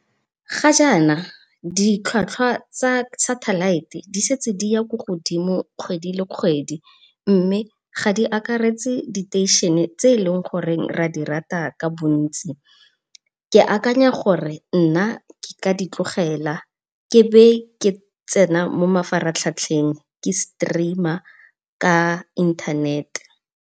Ga jaana ditlhatlhwa tsa satellite di setse di ya kwa godimo kgwedi le kgwedi, mme ga di akaretse diteišene tse eleng gore ra di rata ka bontsi. Ke akanya gore nna nka di tlogela ke be ke tsena mo mafaratlhatlheng ke streamer ka inthanete.